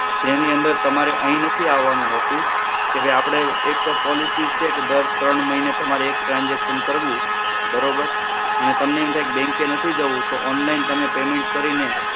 તેની અંદર તમારે અહીં નથી આવવાનું હોતું. કે ભાઈ આપડે એક તો policy છે જ કે દર ત્રણ મહિને તમારે એક transaction કરવું બરોબર? અને તમને એમ થાય કે bank એ નથી જવું તો online તમે payment કરીને